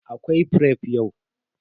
Akwai fref yau.